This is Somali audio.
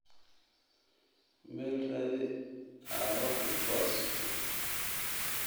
Mel raadi aa waxan kuasturto.